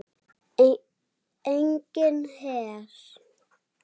Enginn her.